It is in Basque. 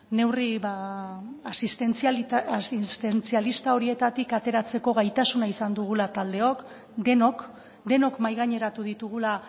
neurri asistentzialista horietatik ateratzeko gaitasuna izan dugula taldeok denok denok mahaigaineratu ditugula